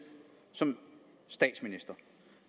som statsminister